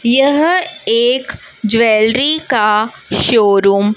यह एक ज्वेलरी का शोरूम --